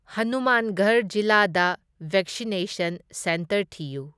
ꯍꯅꯨꯃꯥꯟꯒꯔ ꯖꯤꯂꯥꯗ vaccination centre ꯊꯤꯌꯨ꯫